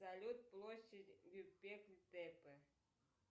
салют площадь